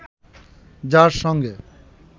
যার সঙ্গে